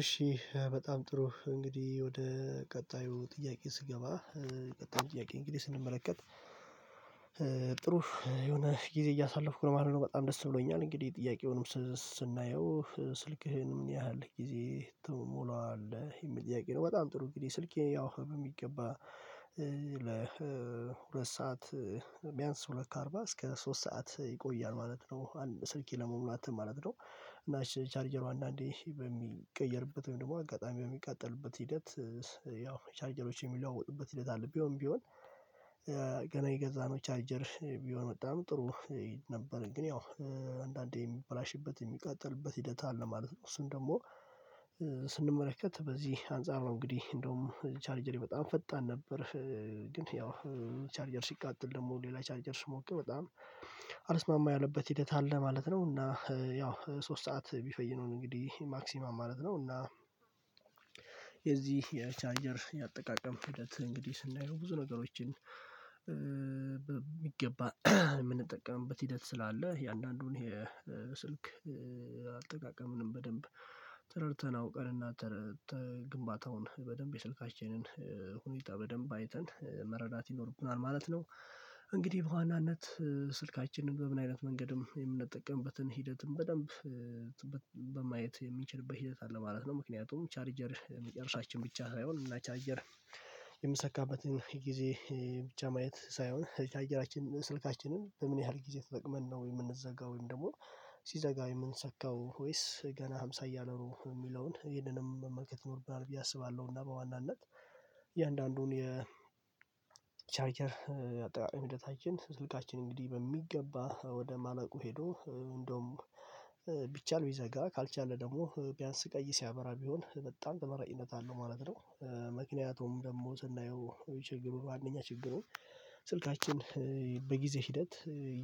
እሺ በጣም ጥሩ እንግዲህ ወደ ቀጣዩ ጥያቄ ስገባ ቀጣዩ ጥያቄ እንግዲህ ስንመለከት ጥሩ የሆነ ጊዜ እያሳለፍኩ ነው ማለት ነው። በጣም ደስ ብሎኛል እንግዲህ ጥያቄውንም ስን ስናየው ስልክህን ምን ያህል ጊዜ ትሞላዋለህ የሚል ጥያቄ ነው? በጣም ጥሩ እንግዲህ ስልኬ ያው የሚገባ ለሁለት ሰዓት ቢያንስ ሁለት ከአርባ እስከ ሶስት ሰዓት ይቆያል ማለት ነው አንድ ስልኬ ለመሙላት ማለት ነው። እና ቻርጀሩ አንዳንዴ በሚቀየርበት ወይም ደግሞ አጋጣሚ በሚቃጠልበት ሂደት ያው ቻርጀሮች በሚለዋጡበት ሂደት አለ። ቢሆን ቢሆን የገዛነው ቻርጀር ቢሆን በጣም ጥሩ ነበር ግን ያው አንዳንዴ የሚበላሽበት የሚቃጠልበት ሂደት አለ ማለት ነው። እሱን ደግሞ ስንመለከት በዚህ አንፃር ነው እንግዲህ እንደውም ቻርጀሬ በጣም ፈጣን ነበር። ግን ያው ቻርጀር ሲቃጠል ደግሞ ሌላ ቻርጀር ሲሞቅ በጣም አልስማማ ያለበት ሂደት አለ ማለት ነው። እና ያው ሶስት ሰዓት ቢፈጅ ነው እንግዲህ ማክሲመም ማለት ነው። እና የዚህ የቻርጀር ያጠቃቀም ሂደት እንግዲህ ስናይ ብዙ ነገሮችን የሚገባ የምንጠቀምበት ሂደት ስላለ የአንዳንዱን የስልክ አልጠቃቀምን በደንብ ተረድተን አውቀንና ተረ ተ ግንባታውን በደንብ የስልካችንን ሁኔታ በደንብ አይተን መረዳት ይኖርብናል ማለት ነው። እንግዲህ በዋናነት ስልካችንን በምን አይነት መንገድም የምንጠቀምበትን ሂደትም በደንብ በማየት የምንችልበት ሂደት አለ ማለት ነው። ምክንያቱም ቻርጀር መጨረሻችን ብቻ ሳይሆን እኛ ቻርጀር የምንሰካበትን ጊዜ ብቻ ማየት ሳይሆን የቻርጀራችን ስልካችንን በምን ያህል ጊዜ ተጠቅመን ነው ወይ የምንዘጋው ወይም ደግሞ ሲዘጋ የምንሰካው ወይስ ገና ሃምሳ እያለነው የሚለውን ይሄንንም መመልከት ይኖርብናል። ብዬ አስባለሁ እና በዋናነት የአንዳንዱን የቻርጀር አጠቃቀም ሂደታችን ስልካችን እንግዲህ በሚገባ ወደ ማለቁ ሂዶ እንደውም ቢቻል ቢዘጋ ካልቻለ ደግሞ ቢያንስ ቀይ ሲያበራ ቢሆን በጣም ተመራጭነት አለው ማለት ነው። ምክንያቱም ደግሞ ስናየው ችግሩ አንደኛ ችግሩን ስልካችን በጊዜ ሂደት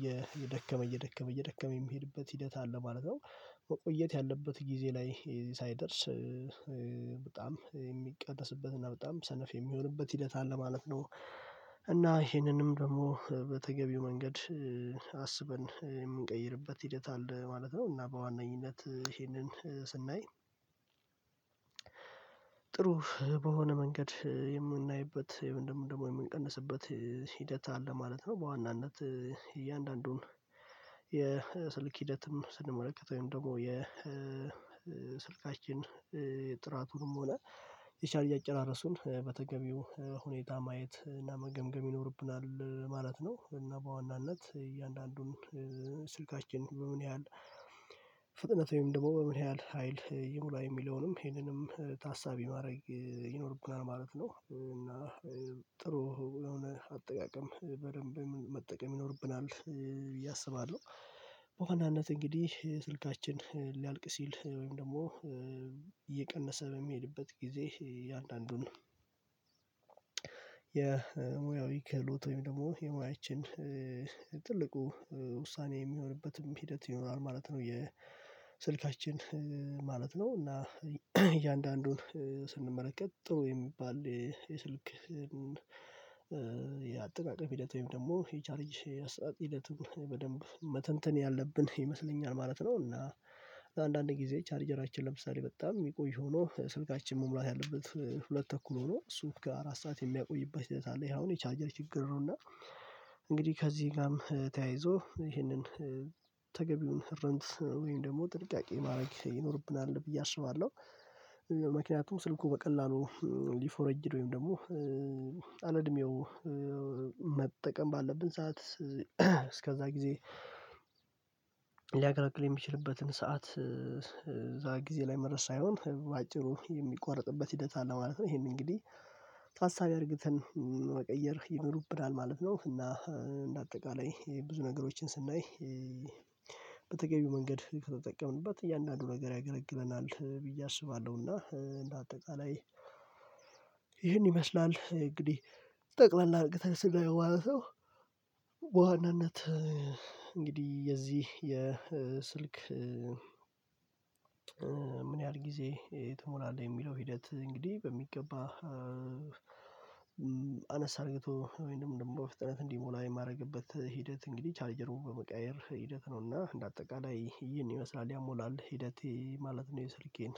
የ እየደከመ እየደከመ እየደከመ የሚሄድበት ሂደት አለ ማለት ነው። መቆየት ያለበት ጊዜ ላይ ሳይደርስ በጣም የሚቀደስበት እና በጣም ሰነፍ የሚሆንበት ሂደት አለ ማለት ነው። እና ይሄንንም ደግሞ በተገቢው መንገድ አስበን የምንቀይርበት ሂደት አለ ማለት ነው። እና በዋናኝነት ይሄንን ስናይ ጥሩ በሆነ መንገድ የምናይበት ወይም ደግሞ የምንቀንስበት ሂደት አለ ማለት ነው። በዋናነት እያንዳንዱን የስልክ ሂደትም ስንመለከተው ወይም ደግሞ የስልካችን የጥራቱንም ሆነ የቻርጅ አጨራረሱን በተገቢው ሁኔታ ማየት እና መገምገም ይኖርብናል ማለት ነው። እና በዋናነት እያንዳንዱን ስልካችን በምን ያህል ፍጥነት ወይም ደግሞ በምን ያህል ሀይል ይሙላ የሚለውንም ይሄንንም ታሳቢ ማድረግ ይኖርብናል ማለት ነው። እና ጥሩ የሆነ አጠቃቀም በደንብ መጠቀም ይኖርብናል ብዬ አስባለሁ። በዋናነት እንግዲህ ስልካችን ሊያልቅ ሲል ወይም ደግሞ እየቀነሰ በሚሄድበት ጊዜ እያንዳንዱን የሙያዊ ክህሎት ወይም ደግሞ የሙያችን ትልቁ ውሳኔ የሚሆንበትም ሂደት ይኖራል ማለት ነው የስልካችን ማለት ነው። እና እያንዳንዱን ስንመለከት ጥሩ የሚባል የስልክ የአጠቃቀም ሂደት ወይም ደግሞ የቻርጅ አሰጣጥ ሂደትን በደንብ መተንተን ያለብን ይመስለኛል ማለት ነው። እና አንዳንድ ጊዜ ቻርጀራችን ለምሳሌ በጣም የሚቆይ ሆኖ ስልካችን መሙላት ያለበት ሁለት ተኩል ሆኖ እሱ ጋ አራት ስዓት የሚያቆይበት ሂደት አለ ይሄ አሁን የቻርጀር ችግር ነው እና። እንግዲህ ከዚህ ጋም ተያይዞ ይሄንን ተገቢውን ረንት ወይም ደግሞ ጥንቃቄ ማድረግ ይኖርብናል ብዬ አስባለሁ። ስልኩ በቀላሉ ሊፎረጅድ ወይም ደግሞ አለ እድሜው መጠቀም ባለብን ሰዓት እስከዛ ጊዜ ሊያገለግል የሚችልበትን ሰዓት እዛ ጊዜ ላይ መድረስ ሳይሆን በአጭሩ የሚቋርጥበት ሂደት አለ ማለት ነው። ይሄንን እንግዲህ ታሳቢ አርገህተን መቀየር ይኖርብናል ማለት ነው። እና እንደ አጠቃላይ ብዙ ነገሮችን ስናይ በተገቢው መንገድ ከተጠቀምንበት እያንዳንዱ ነገር ያገለግለናል ብዬ አስባለሁ። እና እንደ አጠቃላይ ይህን ይመስላል እንግዲህ ጠቅላላ አርቅተህ ስናየው ማለት ነው። በዋናነት እንግዲህ የዚህ የስልክ ምን ያህል ጊዜ ትሞላለህ? የሚለው ሂደት እንግዲህ በሚገባ አነስ አድርቶ ወይንም ደግሞ በፍጥነት እንዲሞላ የማድረግበት ሂደት እንግዲህ ቻርጀሩን በመቀያየር ሂደት ነውና እንደ አጠቃላይ ይህን ይመስላል ያሞላል ሂደቴ ማለት ነው። የስልኬን